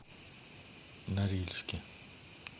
норильске